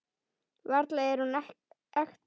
Varla er hún ekta.